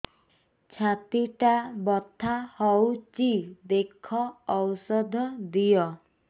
ଛାତି ଟା ବଥା ହଉଚି ଦେଖ ଔଷଧ ଦିଅ